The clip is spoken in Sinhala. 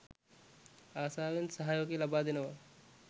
ආසාවෙන් සහයෝගය ලබා දෙනවා.